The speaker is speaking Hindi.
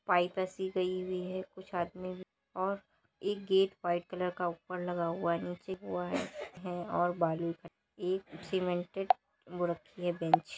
पाइप ऐसी गई हुई है कुछ आदमी वी और एक गेट व्हाइट कलर का ऊपर लगा हुआ है नीचे की ओर बालू रखा हुआ है। एक सीमेंटेड वो रखी है बेंच ।